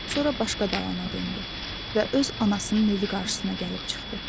Sonra başqa dalana döndü və öz anasının evi qarşısına gəlib çıxdı.